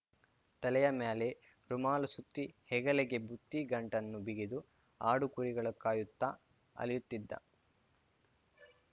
ತಲೆಯ ಮ್ಯಾಲೆ ರುಮಾಲು ಸುತ್ತಿ ಹೆಗಲಿಗೆ ಬುತ್ತಿ ಗಂಟನ್ನು ಬಿಗಿದು ಆಡು ಕುರಿಗಳ ಕಾಯುತ್ತಾ ಅಲೆಯುತಿದ್ದ